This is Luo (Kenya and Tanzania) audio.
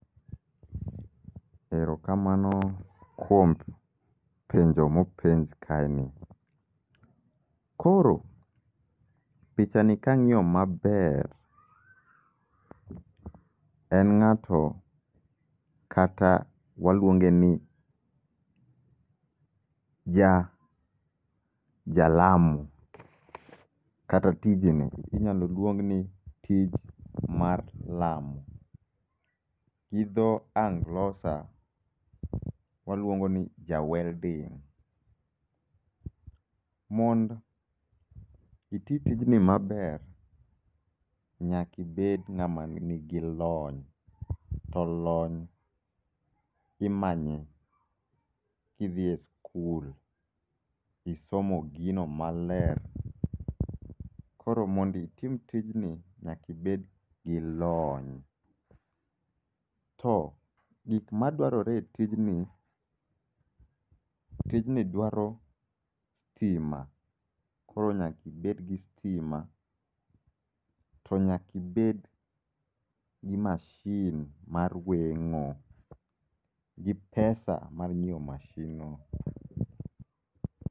Erokamano kuom penjo mopenj kae ni. Koro pich a ni kang'iyo maber, en ng'ato kata waluonge ni ja jalamo. Kata tijni inyalo luong ni tij mar malo. Gi dho Anglosa waluongo ni ja welding. Mond iti tijni maber, nyakibed ng'ama nigi lony. To lony imanye idhie skul, isomo gino maler. Koro monditim tijni nyakibed gi lony. To gik madwarore e tijni, tijni dwaro hima, koro nyakibed gi hima. To nyakibed gi mashin mar weng'o, gi pesa mar nyiewo mashin no.